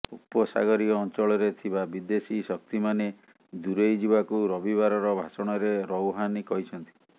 ଉପସାଗରୀୟ ଅଞ୍ଚଳରେ ଥିବା ବିଦେଶୀ ଶକ୍ତିମାନେ ଦୂରେଇ ଯିବାକୁ ରବିବାରର ଭାଷଣରେ ରୌହାନି କହିଛନ୍ତି